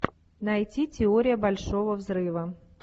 найти теория большого взрыва